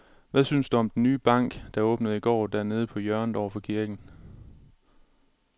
Hvad synes du om den nye bank, der åbnede i går dernede på hjørnet over for kirken?